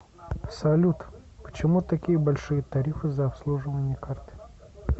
салют почему такие большие тарифы за обслуживание карты